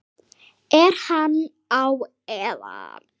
Er hann á eða?